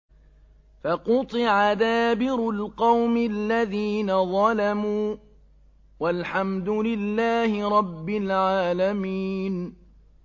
فَقُطِعَ دَابِرُ الْقَوْمِ الَّذِينَ ظَلَمُوا ۚ وَالْحَمْدُ لِلَّهِ رَبِّ الْعَالَمِينَ